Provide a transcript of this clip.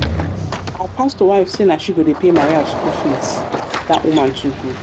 our pastor wife say na she go dey pay maria school fees that woman too good